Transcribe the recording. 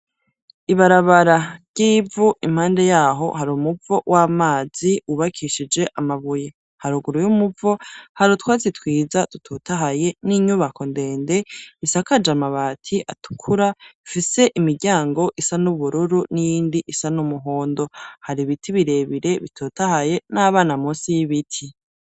Ibarabara ry'ivu impande yaryo hari umuvo w'amazi wubakishije amabuye. Haruguru y'umuvo hari utwatsi twiza dututahaye n'inyubako ndende isakaje amabati atukura, ifise imiryango isa n'ubururu n'iyindi isa n'umuhondo. Hari ibiti birebire bitutahaye n'abana munsi y'ibiti.